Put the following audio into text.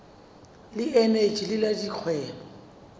le eneji le la dikgwebo